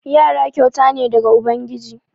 Yara kyauta ne daga ubangiji.